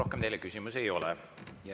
Rohkem teile küsimusi ei ole.